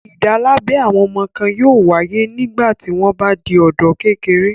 Ìdálábẹ àwọn ọmọ kan yóò wáyé nígbà tí wọ́n bá di ọ̀dọ́-kékeré